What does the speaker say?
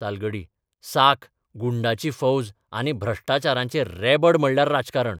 तालगडी साक, गुंडांची फौज आनी भ्रश्टाचाराचें रेबड म्हणल्यार राजकारण.